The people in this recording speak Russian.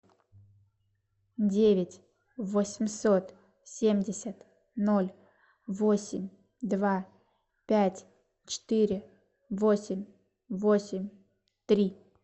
девять восемьсот семьдесят ноль восемь два пять четыре восемь восемь три